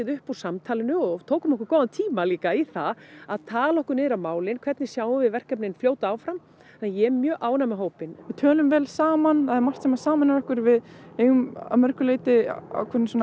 upp úr samtalinu og tókum okkur góðan tíma í það að tala okkur niður á málin hvernig sjáum við verkefnin fljóta áfram þannig ég er mjög ánægð með hópinn við tölum vel saman það er margt sem sameinar okkur við eigum að mörgu leyti ákveðna